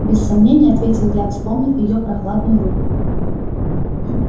без сомнения ответил я вспомнив её прохладную руку